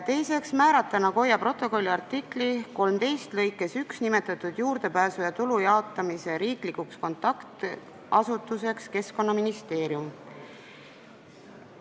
Teine: määrata Nagoya protokolli artikli 13 lõikes 1 nimetatud juurdepääsu ja tulu jaotamise riiklikuks kontaktasutuseks Keskkonnaministeerium.